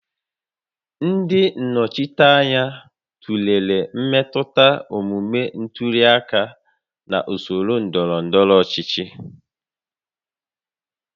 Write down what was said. Ndị nnọchiteanya tụlere mmetụta omume ntuli aka na usoro ndọrọ ndọrọ ọchịchị